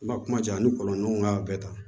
N ma kuma ja a ni kɔlɔn ɲɔgɔn ka bɛɛ ta